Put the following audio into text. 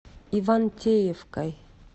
ивантеевкой